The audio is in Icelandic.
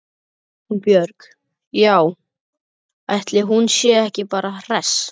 Hún Björg- já, ætli hún sé ekki bara hress.